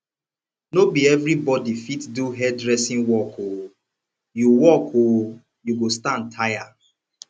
no be everybodi fit do hairdressing work o you work o you go stand tire